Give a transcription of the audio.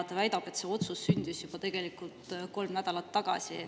Ta väidab, et see otsus sündis tegelikult juba kolm nädalat tagasi.